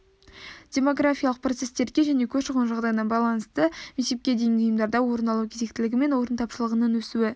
демографиялық процестерге және көші-қон жағдайына байланысты мектепке дейінгі ұйымдарда орын алу кезектілігі мен орын тапшылығының өсуі